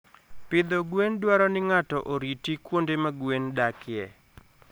Pidho gwen dwaro ni ng'ato oriti kuonde ma gwen dakie.